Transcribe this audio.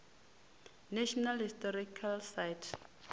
national historic site